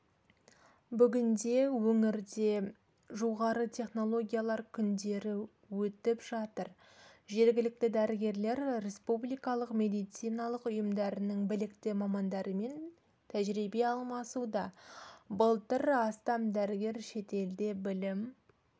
бүгінде өңірде жоғары технологиялар күндері өтіп жатыр жергілікті дәрігерлер республикалық медициналық ұйымдарының білікті мамандарымен тәжірибе алмасуда былтыр астам дәрігер шетелде білім